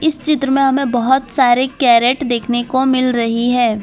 चित्र में हमें बहोत सारे कैरेट देखने को मिल रही है।